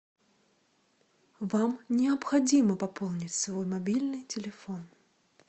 вам необходимо пополнить свой мобильный телефон